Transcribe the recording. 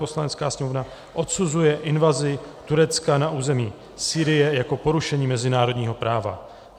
Poslanecká sněmovna odsuzuje invazi Turecka na území Sýrie jako porušení mezinárodního práva;